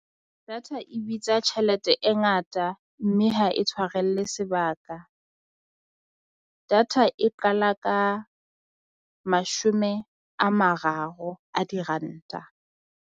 Data e bitsa tjhelete e ngata mme ha e tshwarelle sebaka data e qala ka mashome a mararo a diranta.